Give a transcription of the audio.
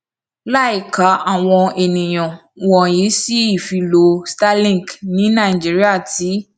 láìka àwọn àníyàn wọnyí sí ìfilọ starlink ní nàìjíríà ti